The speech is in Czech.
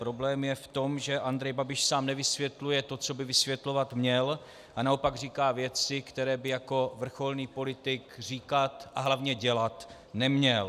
Problém je v tom, že Andrej Babiš sám nevysvětluje to, co by vysvětlovat měl, a naopak říká věci, které by jako vrcholný politik říkat a hlavně dělat neměl.